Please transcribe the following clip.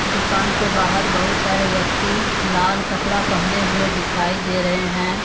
दुकान के बाहर बहुत सारे व्यक्ति लाल कपड़ा पहने हुए दिखाई दे रहे हैं।